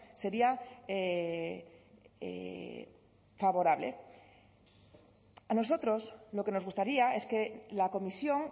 sería favorable a nosotros lo que nos gustaría es que la comisión